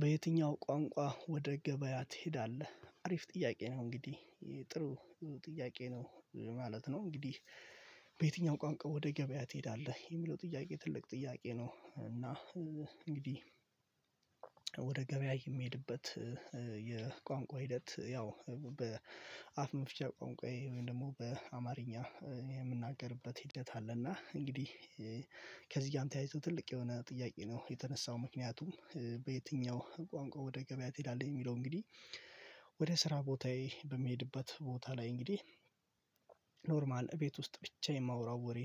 በየትኛው ቋንቋ ወደ ገበያ ትሄዳለህ? አሪፍ ጥያቄ ነው እንግዲህ የጥሩ ጥያቄ ነው ማለት ነው። እንግዲህ በየትኛውም ቋንቋ ወደ ገበያ ትሄዳለህ የሚለው ጥያቄ ትልቅ ጥያቄ ነው። እና እንግዲህ ወደ ገበያ የሚሄድበት የቋንቋ ሂደት ያው በአፍ መፍቻ ቋንቋ ወይም ደግሞ በአማርኛ የምናገርበት ሂደት አለ። እና እንግዲህ ከዚህ አንተ አይቶ ትልቅ የሆነ ጥያቄ ነው የተነሳው ምክንያቱም በየትኛው ቋንቋ ወደ ገበያ ትሄዳለህ? የሚለው እንግዲህ ወደ ስራ ቦታዬ በሚሄድበት ቦታ ላይ እንግዲህ ኖርማል ቤት ውስጥ ብቻ የማወራው ወሬ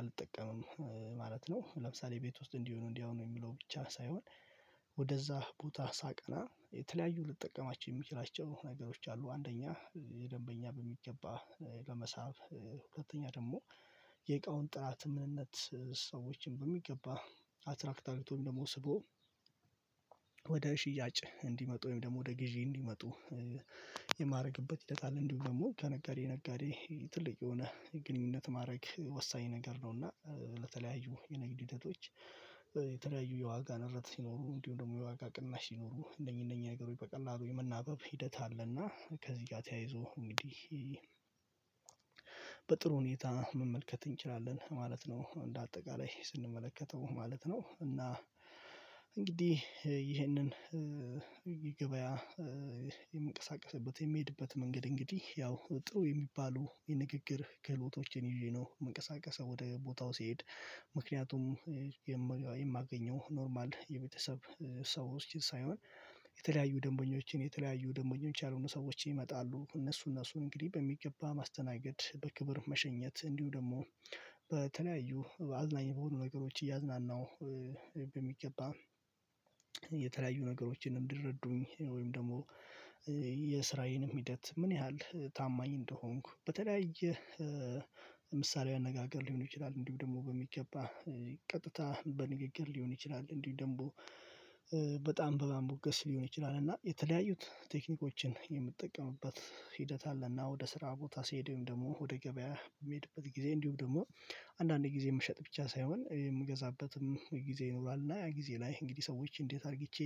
አልጠቀምም ማለት ነው። ለምሳሌ ቤት ውስጥ እንዲሆኑ እንዲያውም የሚለው ብቻ ሳይሆን ወደዛ ቦታ ሳቀና የተለያዩ ልጠቀማቸው የምችላቸው ነገሮች አሉ። አንደኛ የደንበኛ በሚገባ ለመሳብ ሁለተኛ ደግሞ የእቃውን ጥራት ምንነት ሰዎችን በሚገባ አትራክት አርግቶ ደግሞ ስቦ ወደ ሽያጭ እንዲመጡ ወይም ደግሞ ወደ ግዢ እንዲመጡ የማደርግበት ሂደት አለ። እንዲሁም ደግሞ ከነጋዴ ነጋዴ ትልቅ የሆነ ግንኙነት ማድረግ ወሳኝ ነገር ነውና ለተለያዩ የንግድ ሂደቶች። የተለያዩ የዋጋ ንረት ሲኖሩ እንዲሁ ደግሞ የዋጋ ቅናሽ ሲኖሩ እነኚህ እነኚህ ነገሮች በቀላሉ የመናገር ሂደት አለና ከዚህ ጋር ተያይዞ እንግዲህ በጥሩ ሁኔታ መመልከት እንችላለን ማለት ነው። እንደ አጠቃላይ ስንመለከተው ማለት ነው። እና እንግዲህ ይህንን ገበያ የምንቀሳቀስበት የሚሄድበት መንገድ እንግዲህ ያው ጥሩ የሚባሉ የንግግር ክህሎቶችን ይዤ ነው መንቀሳቀሰው ወደ ቦታው ሲሄድ። ምክንያቱም የማገኘው ኖርማል የቤተሰብ ሰዎች ሳይሆን የተለያዩ ደንበኞችን የተለያዩ ደንበኞች ያልሆኑ ሰዎችን ይመጣሉ። እነሱ እነሱን እንግዲህ በሚገባ ማስተናገድ በክብር መሸኘት እንዲሁ ደግሞ በተለያዩ አዝናኝ በሆኑ ነገሮች እያዝናናሁ በሚገባ የተለያዩ ነገሮችን እንዲረዱኝ ወይም ደግሞ የስራዬንም ሂደት ምን ያህል ታማኝ እንደሆንኩ በተለያየ ምሳሌዊ አነጋገር ሊሆን ይችላል። እንዲሁ ደግሞ በሚገባ ቀጥታ በንግግር ሊሆን ይችላል እንዲሁ ደግሞ በጣም በማሞገስ ሊሆን ይችላል። እና የተለያዩት ቴክኒኮችን የምጠቀምበት ሂደት አለ። እና ወደ ስራ ቦታ ሲሄዱም ደግሞ ወደ ገበያ የሚሄድበት ጊዜ እንዲሁም ደግሞ አንዳንዴ ጊዜ የምሸጥ ብቻ ሳይሆን የምገዛበትም ጊዜ ይኖራል። እና ያ ጊዜ ላይ እንግዲህ ሰዎች እንዴት? አርግቼ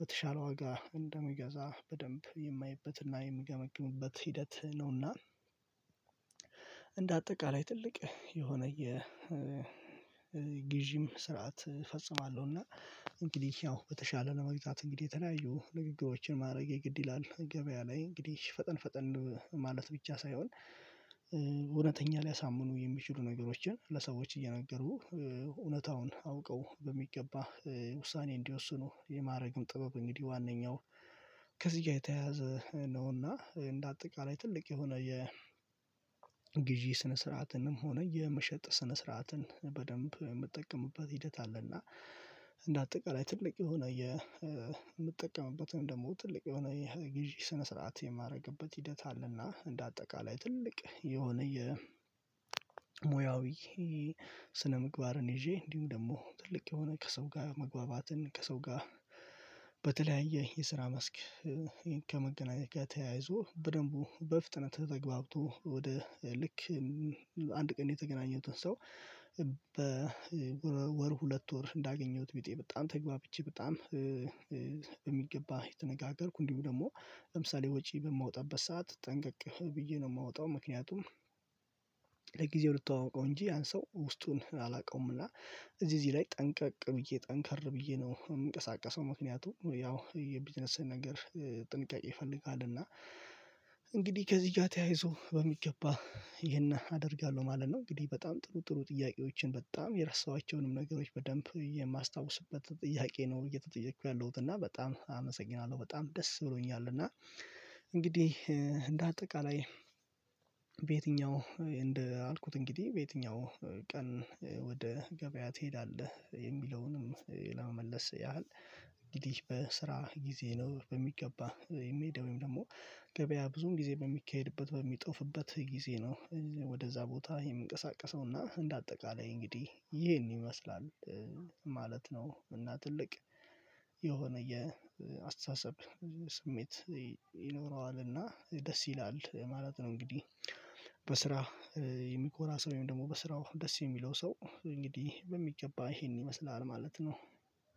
በተሻለ ዋጋ እንደምገዛ በደንብ የማየበትና የምገመግምበት ሂደት ነውና። እንደ አጠቃላይ ትልቅ የሆነ የ ግዢም ስርዓት እፈጽማለሁና። እንግዲህ ያው በተሻለ ለመግጣት እንግዲህ የተለያዩ ንግግሮችን ማድረግ የግድ ይላል ገበያ ላይ እንግዲህ ፈጠን ፈጠን ማለት ብቻ ሳይሆን እውነተኛ ሊያሳምኑ የሚችሉ ነገሮችን ለሰዎች እየነገሩ እውነታውን አውቀው በሚገባ ውሳኔ እንዲወስኑ የማድረግም ጥበብ። እንግዲህ ዋናኛው ከዚህ ጋር የተያያዘ ነውና እንደ አጠቃላይ ትልቅ የሆነ የግዢ ስነ ስርዓትንም ሆነ የመሸጥ ስነ ስርዓትን በደንብ የምጠቀምበት ሂደት አለና። እንደ አጠቃላይ ትልቅ የሆነ የምጠቀምበትም ደግሞ ትልቅ የሆነ የግዢ የሰነ ስርዓት የማደርግበት ሂደት አለና። እንደ አጠቃላይ ትልቅ የሆነ የሙያዊ ስነምግባርን ይዤ እንዲሁም ደግሞ ትልቅ የሆነ ከሰው ጋር መግባባትን ከሰው ጋር በተለያየ የስራ መስክ። ከመገናኘት ከተያያዙ በደንቡ በፍጥነት ተገብቶ ወደ ልክ አንድ ቀን የተገናኘሁትን ሰው። በወር ሁለት ወር እንዳገኘሁት ቢጤ በጣም ተግባብቼ በጣም የሚገባ የተነጋገርኩ እንዲሁ ደግሞ ለምሳሌ ወጪ በማወጣበት ሰዓት ጠንቀቅ ብዬ ነው የማወጣው ምክንያቱም። ለጊዜው ልትተዋወቀው እንጂ ያን ሰው ውስጡን አላውቀውም። እና እዚህ እዚህ ላይ ጠንቀቅ ብዬ ጠንከር ብዬ ነው የምንቀሳቀሰው ምክንያቱ ያው የቢዝነስ ነገር ጥንቃቄ ይፈልጋል። እና እንግዲህ ከዚህ ጋር ተያይዞ በሚገባ ይሄን አደርጋለሁ ማለት ነው። እንግዲህ በጣም ጥሩ ጥሩ ጥያቄዎችን በጣም የረሳኋቸውንም ነገሮች በደንብ የማስታውስበት ጥያቄ ነው። እየተጠየቅኩ ያለሁት እና በጣም አመሰግናለሁ በጣም ደስ ብሎኛል። እና እንግዲህ እንደ አጠቃላይ በየትኛው እንዳልኩት እንግዲህ በየትኛው ቀን ወደ ገበያ ትሄዳለህ የሚለውንም ለመመለስ ያህል እንግዲህ በስራ ጊዜ ነው። በሚገባ የሚሄደው ወይም ደግሞ ገበያ ብዙም ጊዜ በሚካሄድበት በሚጠፉበት ጊዜ ነው። ወደዛ ቦታ የምንቀሳቀሰውና እንደ አጠቃላይ እንግዲህ ይሄን ይመስላል ማለት ነው። እና ትልቅ የሆነ የአስተሳሰብ ስሜት ይኖረዋልና ደስ ይላል ማለት ነው። እንግዲህ በስራ የሚኮራ ሰው ወይም ደግሞ በስራው ደስ የሚለው ሰው እንግዲህ በሚገባ ይሄን ይመስላል ማለት ነው።